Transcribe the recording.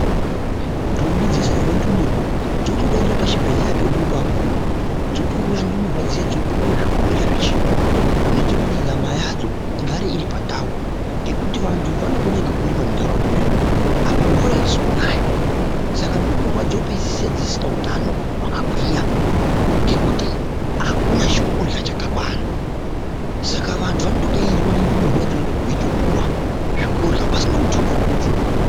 Ntombi dzeshe dzine ndumurwa dzinotodaidzwa pachibhedhleya pedu apapo dzotouya ndumurwa dziya dzeipuwa zvekurya zvechiyungu zvinoita kuti nyama yadzo igare iri pandau ngekuti vantu vanopona ngekurima muntaraunda mwedu umwu apa mvura aizi kunaya saka ndumurwa dzopedzisira dzisisina utano hwakagwinya ngekuti akuna chekurya chakakwana saka vantu vanotodainzwa nendumurwa idzodzo veitopuwa zvekurya pasina mutuso waduswa.